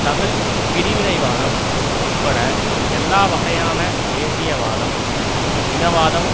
தமிழ் பிரிவினைவாதம் உட்பட எல்லா வகையான தேசியவாதம் இனவாதம்